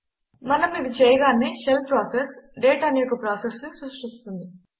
మనం ఇది చేయగానే షెల్ ప్రాసెస్ డేట్ అనే ఒక ప్రాసెస్ని సృష్టిస్తుంది